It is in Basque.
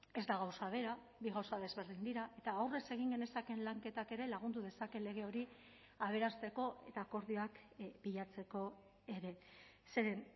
ez da gauza bera bi gauza desberdin dira eta aurrez egin genezakeen lanketak ere lagundu dezake lege hori aberasteko eta akordioak bilatzeko ere zeren